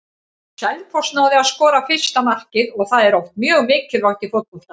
Selfoss náði að skora fyrsta markið og það er oft mjög mikilvægt í fótbolta.